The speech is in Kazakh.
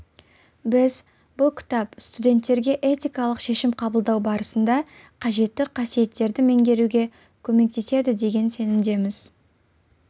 біз бұл кітап студенттерге этикалық шешім қабылдау барысында қажетті қасиеттерді меңгеруге көмектеседі деген сенімдеміз